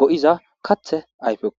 go7iza kathe ayfekko